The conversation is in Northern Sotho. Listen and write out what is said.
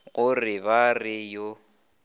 go re ba re yo